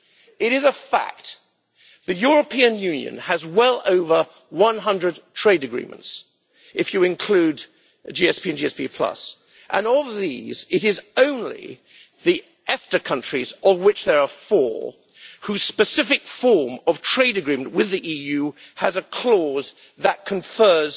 It is a fact that the European Union has well over 100 trade agreements if you include GSP and GSP, and all of these it is only the EFTA countries, of which there are four, whose specific form of trade agreement with the EU has a clause that confers